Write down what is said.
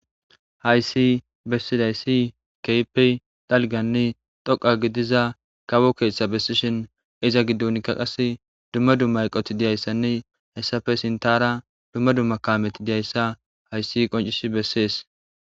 Hayssi bessizayssi kehippe dalgganne dhoqqa gidida kawo keththa besishin iza giddonika qasse dumma dumma eqqoti dizayssane dumma dumma kaameti dizayssa hayssi qonccisi besses.